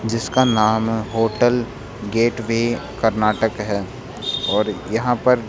जिसका नाम hotel gateway Karnataka है और यहां पर--